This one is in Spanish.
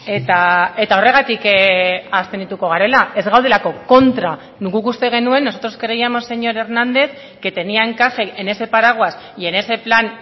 eta horregatik abstenituko garela ez gaudelako kontra guk uste genuen nosotros creíamos señor hernández que tenía encaje en ese paraguas y en ese plan